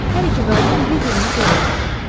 Hər iki qadın bir-birini görməliydi.